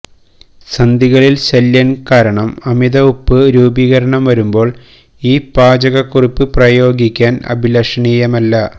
സന്ധികളിൽ ശല്യം കാരണം അമിത ഉപ്പ് രൂപീകരണം വരുമ്പോൾ ഈ പാചകക്കുറിപ്പ് പ്രയോഗിക്കാൻ അഭിലഷണീയമല്ല